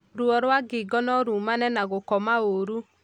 Ruo rwa ngingo norumane na gũkoma ũru